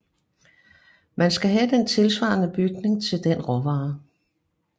Man skal have den tilsvarende bygning til den råvare